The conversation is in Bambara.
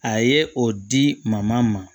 A ye o di ma